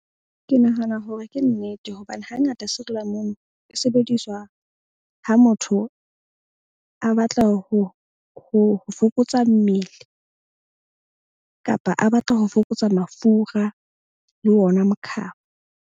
Ke nahana hore ke nnete hobane hangata sirilamunu e sebediswa ha motho a batla ho fokotsa mmele. Kapa a batla ho fokotsa mafura le ona mokhaba.